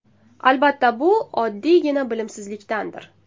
Albatta bu oddiygina bilimsizlikdandir.